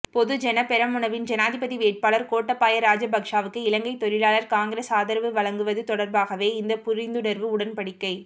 பொதுஜன பெரமுனவின் ஜனாதிபதி வேட்பாளர் கோட்டபாய ராஜபக்ஷவுக்கு இலங்கை தொழிலாளர் காங்கிரஸ் ஆதரவுவழங்குவது தொடர்பாகவே இந்த புரிந்துணர்வு உடன்படி்கை